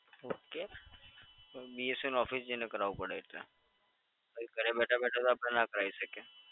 Okay પણ BSNL office જઈને કરાવવું પડે. અહીં ઘરે બેઠા બેઠા તો આપડે ના કરાવી શકિએ.